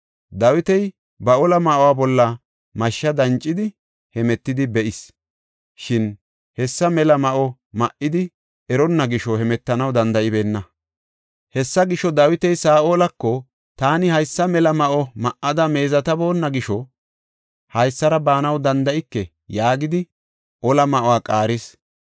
Dawiti ba ola ma7uwa bolla mashsha dancidi hemetidi be7is. Shin hessa mela ma7o ma7idi eronna gisho hemetanaw danda7ibeenna. Hessa gisho, Dawiti Saa7olako, “Taani haysa mela ma7o ma7ada meezetaboonna gisho haysara baanaw danda7ike” yaagidi ola ma7uwa qaaris.